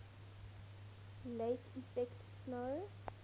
lake effect snow